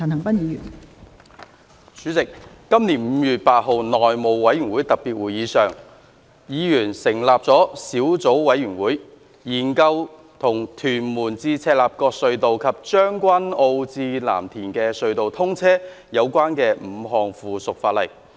代理主席，在本年5月8日的內務委員會特別會議上，委員成立了小組委員會，研究與屯門—赤鱲角隧道及將軍澳—藍田隧道通車有關的5項附屬法例。